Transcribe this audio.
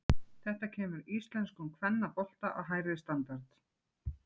Þetta kemur íslenskum kvennabolta á hærri standard.